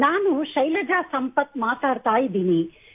ನಾನು ಶೈಲಜಾ ಸಂಪತ್ ಮಾತನಾಡುತ್ತಿದ್ದೇನೆ